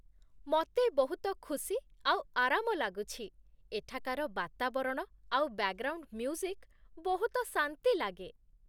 ମତେ ବହୁତ ଖୁସି ଆଉ ଆରାମ ଲାଗୁଛି, ଏଠାକାର ବାତାବରଣ ଆଉ ବ୍ୟାକ୍‌ଗ୍ରାଉଣ୍ଡ୍ ମ୍ୟୁଜିକ୍ ବହୁତ ଶାନ୍ତି ଲାଗେ।